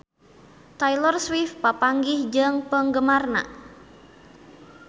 Taylor Swift papanggih jeung penggemarna